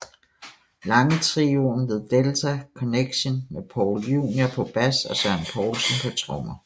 Lange trioen The Delta Connection med Paul Junior på bas og Søren Poulsen på trommer